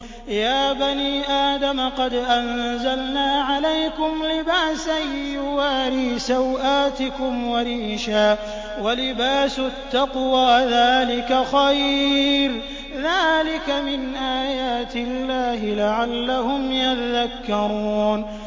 يَا بَنِي آدَمَ قَدْ أَنزَلْنَا عَلَيْكُمْ لِبَاسًا يُوَارِي سَوْآتِكُمْ وَرِيشًا ۖ وَلِبَاسُ التَّقْوَىٰ ذَٰلِكَ خَيْرٌ ۚ ذَٰلِكَ مِنْ آيَاتِ اللَّهِ لَعَلَّهُمْ يَذَّكَّرُونَ